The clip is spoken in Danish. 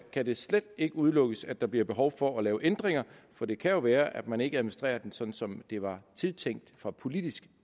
kan det slet ikke udelukkes at der bliver behov for at lave ændringer for det kan jo være at man ikke administrerer den sådan som det var tiltænkt fra politisk